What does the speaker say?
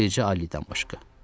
Bircə Alidən başqa.